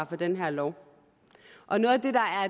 for den her lov